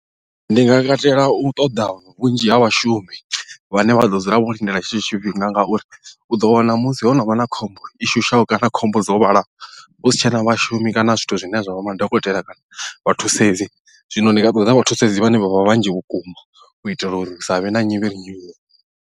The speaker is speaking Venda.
Ndi nga katela u ṱoḓa vhunzhi ha vhashumi vhane vha ḓo dzula vho lindela tshetsho tshifhinga ngauri u ḓo wana musi ho no vha na khombo i shushaho kana khombo dzo vhalaho husi tshena vhashumi kana zwithu zwine zwa vha madokotela kana vha thusedzi zwino ndi nga ṱoḓa vha thusedzi vhane vha vha vhanzhi vhukuma u itela uri hu sa vhe na nyivhi nyivhi.